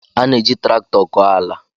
A na-eji traktọ kọọ ala.